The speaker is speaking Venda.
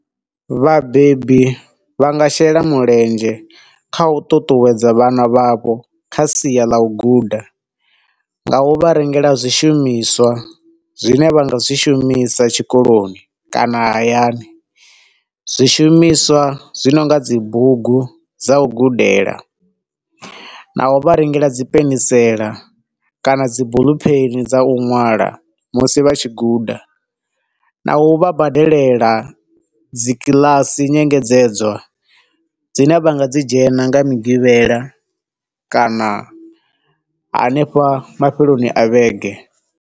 Vhabebi vha nga shela mulenzhe kha u ṱuṱuwedza vhana vha vho kha sia ḽa u guda, nga u vha rengela zwishumiswa zwine vha nga zwi shumisa tshikoloni kana hayani. Zwishumiswa zwi nonga dzibugu dza u gudela, na u vha rengela dzi penisela kana dzi buḽu pheni dza u ṅwala musi vha tshi guda, na u vha badelela dzi kiḽasi nyengedzedzo dzine vha nga dzi dzhena nga migivhela kana hanefha mafheloni a vhege.